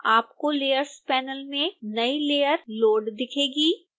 आपको layers panel में नई layer लोड़ दिखेगी